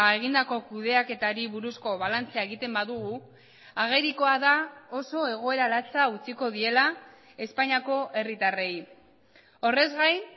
egindako kudeaketari buruzko balantzea egiten badugu agerikoa da oso egoera latsa utziko diela espainiako herritarrei horrez gain